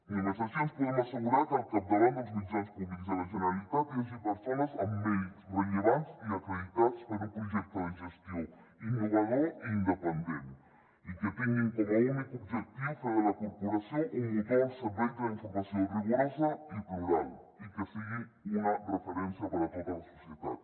només així ens podem assegurar que al capdavant dels mitjans públics de la generalitat hi hagi persones amb mèrits rellevants i acreditats per a un projecte de gestió innovador i independent i que tinguin com a únic objectiu fer de la corporació un motor al servei de la informació rigorosa i plural i que sigui una referència per a tota la societat